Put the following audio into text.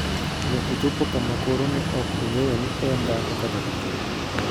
Ne ochopo kama koro ne ok ong'eyo ni en dhako kata dichwo.